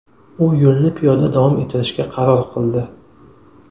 U yo‘lni piyoda davom ettirishga qaror qildi.